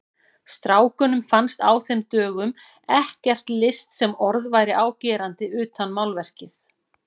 Strákunum fannst á þeim dögum ekkert list sem orð væri á gerandi utan málverkið.